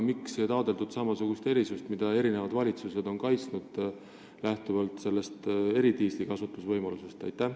Miks ei taotletud samasugust erisust, mida eri valitsused on kaitsnud lähtuvalt eridiisli kasutusvõimalusest?